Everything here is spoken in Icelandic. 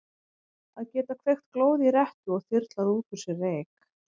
Að geta kveikt glóð í rettu og þyrlað út úr sér reyk.